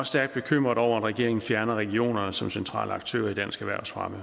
stærkt bekymret over at regeringen fjerner regionerne som centrale aktører i dansk erhvervsfremme